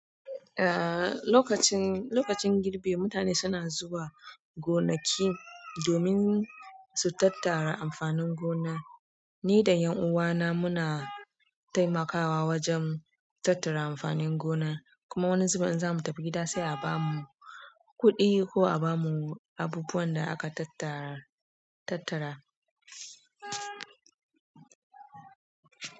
Eh, lokacin, lokacin girbi mutane suna zuwa gonaki domin su tattara amfanin gona. Ni da ƴan uwana muna taimakawa wajen tattara amfanin gona. Kuma wani zubin in zamu tafi gida sai a bamu kuɗi ko a bamu abubuwan da aka tattara, tattara.